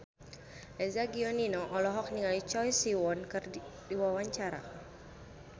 Eza Gionino olohok ningali Choi Siwon keur diwawancara